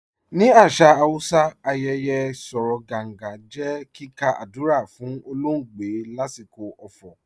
Ni asà Hausà, àyẹyẹ̀ "Sòró Gàngà" jẹ́ kíkà àdúrà fun ọ̀lọ̀ọgbẹ̀ lasikọ ọ̀fọ̀.